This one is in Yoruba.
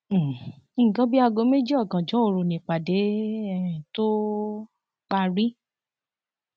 um nǹkan bíi aago méjì ọgànjọ òru nìpàdé um tóo parí